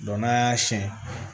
n'an y'a siyɛn